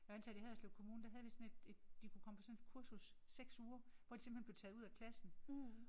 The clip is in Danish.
Jeg var ansat i Haderslev kommune der havde vi sådan et et de kunne komme på sådan et kursus 6 uger hvor de simpelthen blev tager ud af klassen